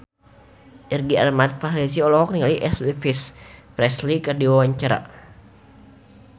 Irgi Ahmad Fahrezi olohok ningali Elvis Presley keur diwawancara